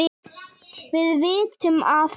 Við vitum að